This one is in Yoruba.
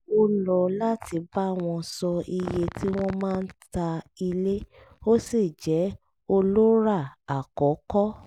ó lọ́ láti bá wọn sọ iye tí wọ́n máa ta ilé ó sì jẹ́ olórà àkọ́kọ́